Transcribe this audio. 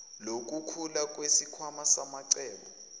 lokukhula kwesikhwama samacebo